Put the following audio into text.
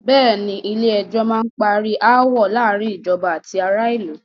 Bẹ̀ẹ́ni, Ilé ẹjọ́ má n parí aáwọ̀ láàárín ìjọba àti ará ìlú.